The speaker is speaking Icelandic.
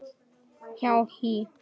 hjá HÍ.